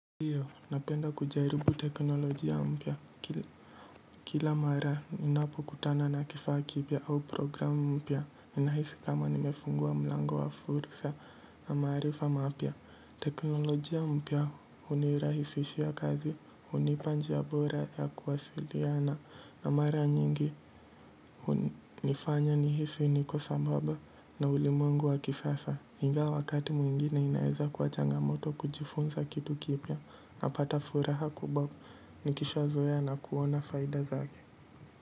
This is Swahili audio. Ndiyo, napenda kujaribu teknolojia mpya. Kila mara ninapokutana na kifaa kipya au program mpya, ninahisi kama nimefungua mlango wa fursa na maarifa mapya. Teknolojia mpya hunirahisishia kazi, hunipa njia bora ya kuwasiliana, na mara nyingi hunifanya nihisi niko sambaba na ulimwengu wa kisasa. Ingawa wakati mwingine inaweza kwa changamoto kujifunza kitu kipya, napata furaha kubwa nikishazoea na kuona faida zake.